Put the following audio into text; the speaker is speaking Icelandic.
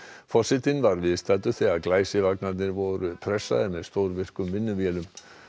forsetinn var viðstaddur þegar voru pressaðir með stórvirkum vinnuvélum